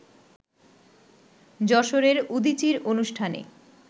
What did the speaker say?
যশোরের উদীচীর অনুষ্ঠানে